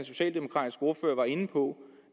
socialdemokratiske ordfører var inde på